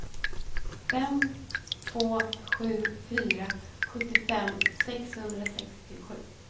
fem två sju fyra sjuttiofem sexhundrasextiosju